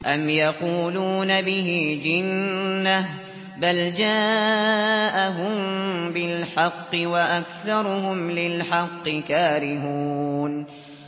أَمْ يَقُولُونَ بِهِ جِنَّةٌ ۚ بَلْ جَاءَهُم بِالْحَقِّ وَأَكْثَرُهُمْ لِلْحَقِّ كَارِهُونَ